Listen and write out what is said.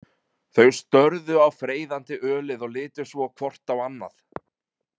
Þau störðu á freyðandi ölið og litu svo hvort á annað.